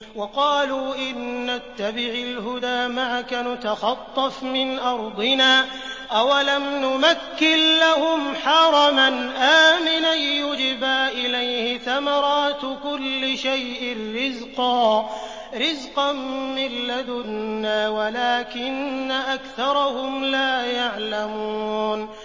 وَقَالُوا إِن نَّتَّبِعِ الْهُدَىٰ مَعَكَ نُتَخَطَّفْ مِنْ أَرْضِنَا ۚ أَوَلَمْ نُمَكِّن لَّهُمْ حَرَمًا آمِنًا يُجْبَىٰ إِلَيْهِ ثَمَرَاتُ كُلِّ شَيْءٍ رِّزْقًا مِّن لَّدُنَّا وَلَٰكِنَّ أَكْثَرَهُمْ لَا يَعْلَمُونَ